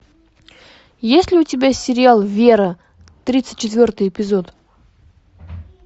есть ли у тебя сериал вера тридцать четвертый эпизод